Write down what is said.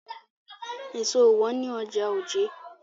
Èso ò wọ́n ní ọjà Ojé.